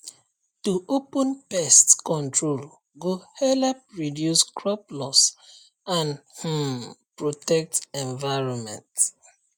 to open pest control go help reduce crop loss and um protect environment